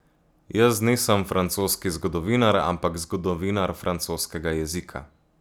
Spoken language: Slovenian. Jaz nisem francoski zgodovinar, ampak zgodovinar francoskega jezika.